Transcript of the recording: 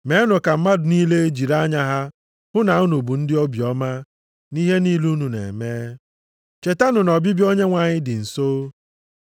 Meenụ ka mmadụ niile jiri anya ha hụ na unu bụ ndị obiọma nʼihe niile unu na-eme. Chetanụ na ọbịbịa Onyenwe anyị dị nso.